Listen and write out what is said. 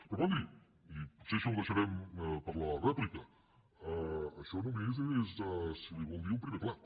però escolti i potser això ho deixarem per a la rèpli·ca això només és si ho vol dir un primer plat